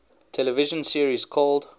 television series called